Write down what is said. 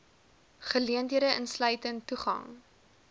geleenthede insluitend toegang